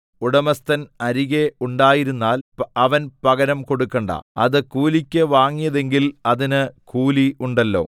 ഉടമസ്ഥൻ അരികെ ഉണ്ടായിരുന്നാൽ അവൻ പകരം കൊടുക്കണ്ട അത് കൂലിക്ക് വാങ്ങിയതെങ്കിൽ അതിന് കൂലിയുണ്ടല്ലോ